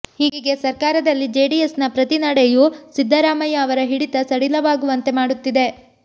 ಹೀಗೆ ಸರ್ಕಾರದಲ್ಲಿ ಜೆಡಿಎಸ್ ನ ಪ್ರತಿ ನಡೆಯೂ ಸಿದ್ದರಾಮಯ್ಯ ಅವರ ಹಿಡಿತ ಸಡಿಲವಾಗುವಂತೆ ಮಾಡುತ್ತಿದೆ